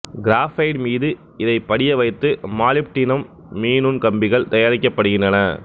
graphite மீது இதைப் படிய வைத்து மாலிப்டினம் மீநுண் கம்பிகள் தயாரிக்கப்படுகின்றன